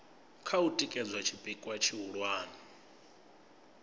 kha u tikedza tshipikwa tshihulwane